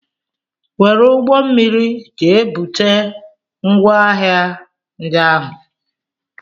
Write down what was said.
Were ụgbọmmiri jee bute ngwaahịa ndị ahụ!